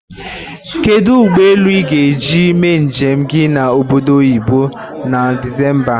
Kedu ụgbọ elu ị ga-eji mee njem gị na Obodo Oyibo na Disemba?